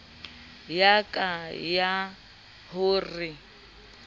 ya ka ya ho re